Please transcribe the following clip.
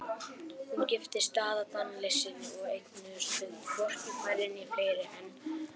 Hún giftist Daða Daníelssyni og eignuðust þau hvorki færri né fleiri en